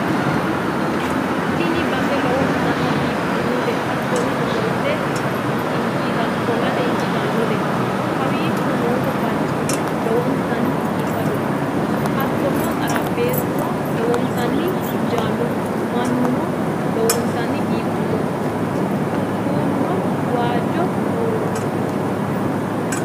Tini base lowontanni biiffannote hattono ofollate injiitannote, kowiicho no barcimi lowontanni biifadoho hattono xarapheezuno lowontanni injaannohu, minuno lowontanni biifannoho, kuulano waajjo buuroonniho.